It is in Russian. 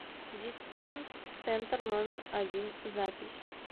дисконт центр номер один запись